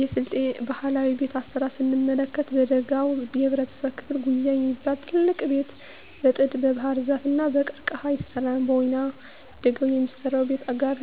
የስልጤ ባህላዊ ቤት አሰራር ስንመለከት በደጋው የህብረተሰብ ክፍል ጉዬ የሚባል ትልቅ ቤት በጥድ, በባህርዛፍ እና በቀርቀሀ ይሰራል። በወይናደጋው የሚሰራው ቤት ጋር